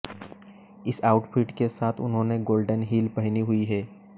इस आउटफिट के साथ उन्होंने गोल्डन हील पहनी हुई हैं